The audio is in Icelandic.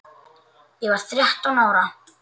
Ég var þrettán ára.